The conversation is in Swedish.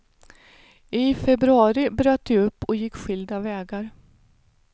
I februari bröt de upp och gick skilda vägar.